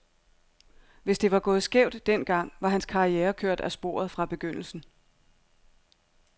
Hvis det var gået skævt den gang, var hans karriere kørt af sporet fra begyndelsen.